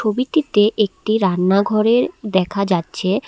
ছবিটিতে একটি রান্নাঘরের দেখা যাচ্ছে।